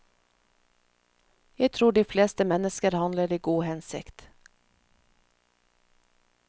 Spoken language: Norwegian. Jeg tror de fleste mennesker handler i god hensikt.